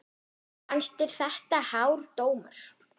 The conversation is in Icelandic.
Fannst þér þetta hár dómur?